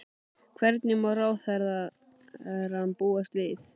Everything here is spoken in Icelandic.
Hverju má ráðherrann búast við?